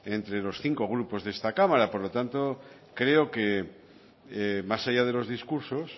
entre los cincos grupos de esta cámara por lo tanto creo que más allá de los discursos